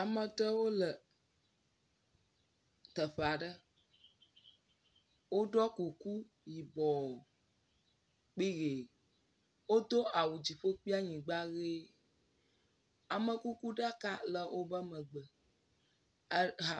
Ame ɖewo le teƒea ɖe. Woɖɔe kuku yibɔ kpi ʋɛ. Wodo awu dziƒo kple anyigbã ʋɛ. Amekukuɖaka le woƒe megbe. Ehaa …..